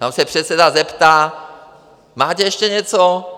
Tam se předseda zeptá: Máte ještě něco?